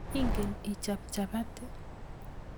ingeen ichop chapati?